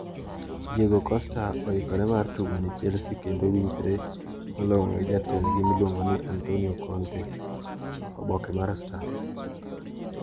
Diego Costa oikore mar tugo ne Chelsea kendo winjore malong`o gi jatendgi miluongo ni Antonio Conte(oboke mar star).